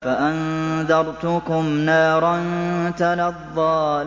فَأَنذَرْتُكُمْ نَارًا تَلَظَّىٰ